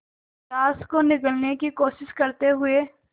grass को निगलने की कोशिश करते हुए